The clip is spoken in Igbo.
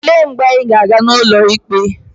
Olee mgbe anyị ga-aga n'ụlọ ikpe?